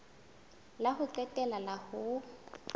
la ho qetela la ho